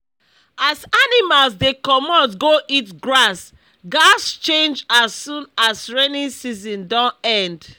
as animals dey comot go eat grass gaz change as soon as rainy season don end